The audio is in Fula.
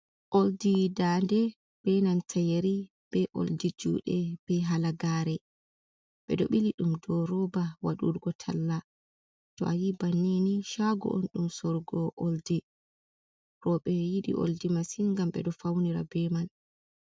Oldi ɗa'nde, ɓe nanta yari, ɓe oldi juɗe ,ɓe halagaare. Ɓe ɗo ɓili ɗum do roba waɗurgo talla, to ayi banni ni shaago un ɗum sorugo oldi. Roɓe yidi oldi masin gam ɓe ɗo faunira ɓe man.